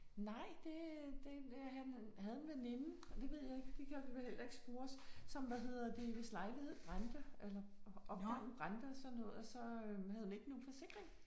Nej det det han havde en veninde og det ved jeg ikke det kan også være jeg heller ikke spurgte som hvad hedder det hvis lejlighed brændte eller opgangen brændte og sådan noget og så havde hun ikke nogen forsikring